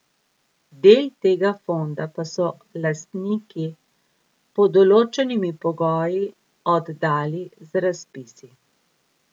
Del tega fonda pa so lastniki pod določenimi pogoji oddali z razpisi.